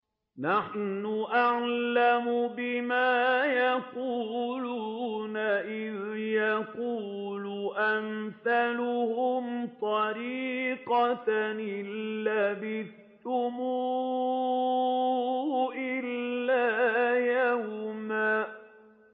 نَّحْنُ أَعْلَمُ بِمَا يَقُولُونَ إِذْ يَقُولُ أَمْثَلُهُمْ طَرِيقَةً إِن لَّبِثْتُمْ إِلَّا يَوْمًا